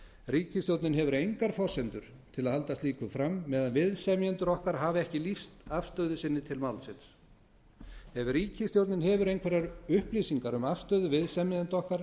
ríkisstjórnin hefur engar forsendur til að halda slíku fram meðan að viðsemjendur okkar hafa ekki lýst afstöðu sinni til málsins ef ríkisstjórnin hefur einhverjar upplýsingar um afstöðu viðsemjenda okkar